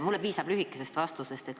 Mulle piisab lühikesest vastusest.